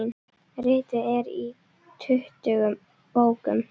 Ritið er í tuttugu bókum.